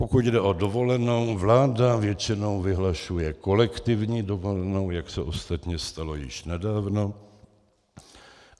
Pokud jde o dovolenou, vláda většinou vyhlašuje kolektivní dovolenou, jak se ostatně stalo již nedávno.